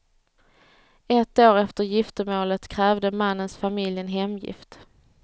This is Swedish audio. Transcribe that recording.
Ett år efter giftermålet krävde mannens familj en hemgift.